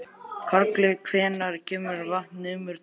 Karli, hvenær kemur vagn númer tvö?